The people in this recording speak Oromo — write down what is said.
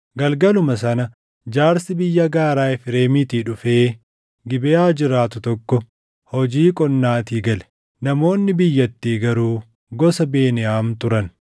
Galgaluma sana jaarsi biyya gaaraa Efreemiitii dhufee Gibeʼaa jiraatu tokko hojii qonnaatii gale. Namoonni biyyattii garuu gosa Beniyaam turan.